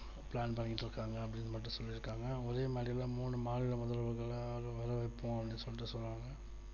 plan பண்ணிட்டு இருக்காங்க அப்படின்னு மட்டும் சொல்லி இருக்காங்க அவங்களே முதல்ல மூணு மாநில முதல்வர்களால் வர வைப்போம் அப்படின்னு சொல்றாங்க